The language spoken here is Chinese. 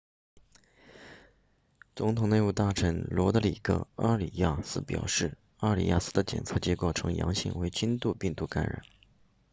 总统内务大臣罗德里戈阿里亚斯表示阿里亚斯的检测结果呈阳性为轻度病毒感染